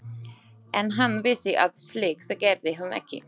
En hann vissi að slíkt gerði hún ekki.